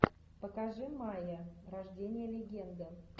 покажи майя рождение легенды